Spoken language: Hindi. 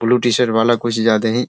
ब्लू टी-शर्ट वाला कुछ ज्यादा ही --